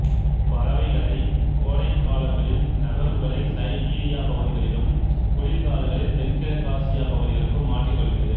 இப்பறவைகளை கோடைகாலங்களில் நகர்வுகளைச் சைபீரியா பகுதிகளிளும் குளிர் காலங்களில் தென்கிழக்காசியா பகுதிகளுக்கும் மாற்றிக்கொள்கிறது